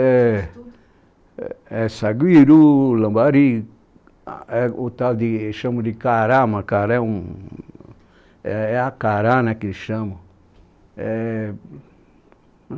É saguiru, lambari, o tal de, chamam de cará, mas cará é um, é a cará, né, que eles chamam.